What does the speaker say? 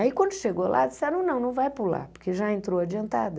Aí quando chegou lá, disseram não, não vai pular, porque já entrou adiantada.